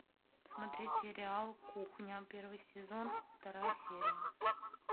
смотреть сериал кухня первый сезон вторая серия